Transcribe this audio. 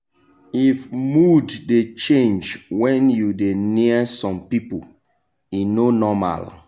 if mood dey change when you dey near some people e no normal.